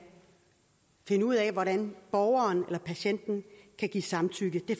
finde ud af hvordan borgeren eller patienten kan give samtykke det